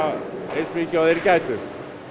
eins mikið og þeir gætu